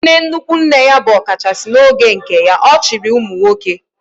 Nne nnukwu nne ya bụ ọkachasị n'oge nke ya, ọ chịrị ụmụnwoke